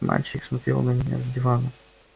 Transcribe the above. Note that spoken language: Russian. мальчик смотрел на меня с дивана